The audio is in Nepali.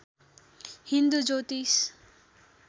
हिन्दू ज्योतिष